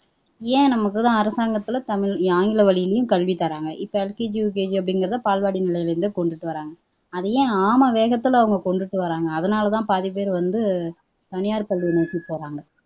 ஏன் நமக்குதான் அரசாங்கத்துல தமிழ் ஆங்கில வழியிலேயும் கல்வி தர்றாங்க இப்ப எல்கேஜி, யுகேஜி அப்படிங்கிறதை பால்வாடி நிலைல இருந்தே கொண்டுட்டு வர்றாங்க அதை ஏன் ஆமை வேகத்துல அவங்க கொண்டுட்டு வர்றாங்க அதனால தான் பாதிப்பேர் வந்து தனியார் பள்ளியை நோக்கி போறாங்க